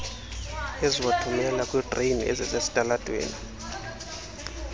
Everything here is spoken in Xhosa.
eziwathumela kwiidreyini ezisesitalatweni